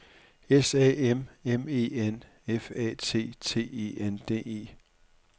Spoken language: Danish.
S A M M E N F A T T E N D E